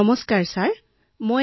লাৱণ্যঃ নমস্কাৰ মহোদয়